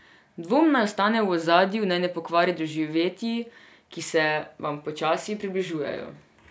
Dvom naj ostane v ozadju, naj ne pokvari doživetij, ki se vam počasi približujejo.